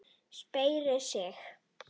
Sperrir sig.